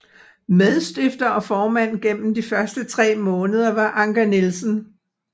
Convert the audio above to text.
Medstifter og formand gennem de første tre måneder var Anker Nielsen